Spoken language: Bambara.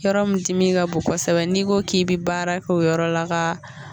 Yɔrɔ min dimi ka bon kosɛbɛ n'i ko k'i bɛ baara kɛ o yɔrɔ la ka